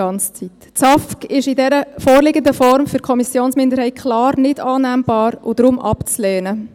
Das SAFG ist in dieser vorliegenden Form für die Kommissionsminderheit klar nicht annehmbar und deshalb abzulehnen.